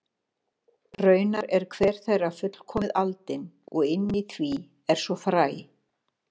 Raunar er hver þeirra fullkomið aldin og inni í því er svo fræ.